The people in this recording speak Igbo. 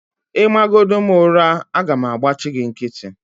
Ịmagodi m ụra, aga m agbachi gị nkịtị